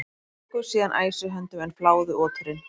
Þeir tóku síðan æsi höndum en fláðu oturinn.